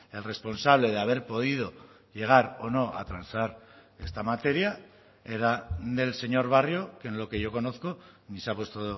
el responsable de haber podido llegar o no a transar esta materia era del señor barrio que en lo que yo conozco ni se ha puesto